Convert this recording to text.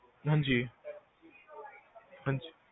ਹਾਂਜੀ ਹਾਂਜੀ